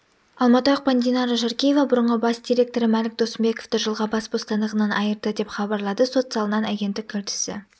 алматы ақпан динара жаркеева бұрынғы бас директоры мәлік досымбековты жылға бас бостандығынан айырды деп хабарлады сот залынан агенттік тілшісі